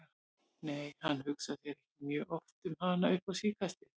Nei, hann hugsaði ekki mjög oft um hana upp á síðkastið.